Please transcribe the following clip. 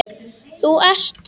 Þú ert